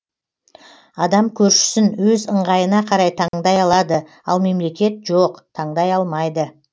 адам көршісін өз ыңғайына қарай таңдай алады ал мемлекет жоқ таңдай алмайды